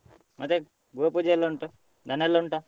ಮತ್ತೆ ಗೋಪೂಜೆ ಎಲ್ಲ ಉಂಟಾ? ದನಯೆಲ್ಲಾ ಉಂಟಾ?